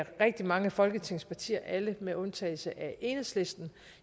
rigtig mange af folketingets partier alle med undtagelse af enhedslisten